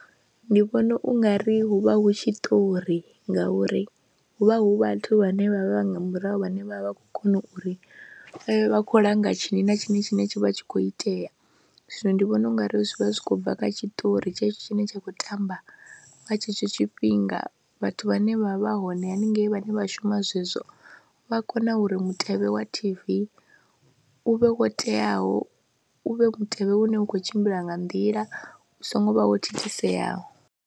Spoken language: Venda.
Ndi vhona u nga ri hu vha hu tshiṱori ngauri hu vha hu vhathu vhane vha vha nga murahu vhane vha vha vha khou kona uri vha khou langa tshini na tshini tshine tsha vha tshi khou itea, zwino ndi vhona u nga ri zwi vha zwi khou bva kha tshiṱori tshetsho tshine tsha khou tamba nga tshetsho tshifhinga, vhathu vhane vha vha hone haningei vhane vha shuma zwezwo vha kone uri mutevhe wa T_V u vhe wo teaho, u vhe mutevhe une u khou tshimbila nga nḓila u songo vha wo thithiseyaho.